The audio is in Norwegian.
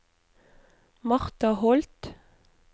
Marta Holth